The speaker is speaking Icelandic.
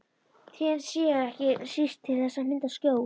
Trén séu ekki síst til þess að mynda skjól.